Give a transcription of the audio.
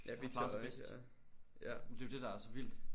Har klaret sig bedst. Men det jo det der er så vildt